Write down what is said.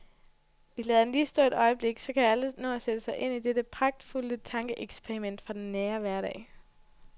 Vi lader den lige stå et øjeblik, så alle kan nå at sætte sig ind i dette pragtfulde tankeeksperiment fra den nære hverdag.